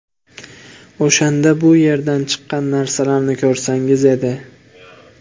O‘shanda bu yerdan chiqqan narsalarni ko‘rsangiz edi.